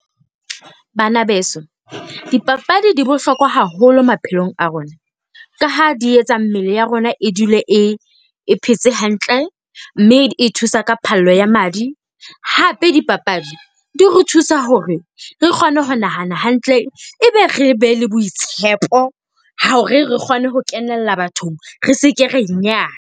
Bana beso, dipapadi di bohlokwa haholo maphelong a rona, ka ha di etsa mmele ya rona e dule e, e phetse hantle mme e thusa ka phallo ya madi. Hape dipapadi di re thusa hore re kgone ho nahana hantle e be re be le boitshepo hore re kgone ho kenella bathong. Re se ke ra .